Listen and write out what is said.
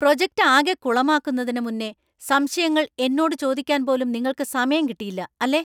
Project ആകെ കുളമാക്കുന്നതിനു മുന്നേ സംശയങ്ങൾ എന്നോട് ചോദിക്കാൻ പോലും നിങ്ങൾക്ക് സമയം കിട്ടിയില്ല അല്ലേ?